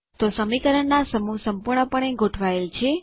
તો સમીકરણોના સમૂહ સંપૂર્ણપણે ગોઠવાયેલ છે